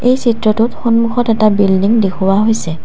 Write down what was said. এই চিত্ৰটোত সন্মুখত এটা বিল্ডিং দেখুওৱা হৈছে।